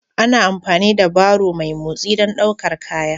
Ana amfani da barrow mai motsi don ɗaukar kaya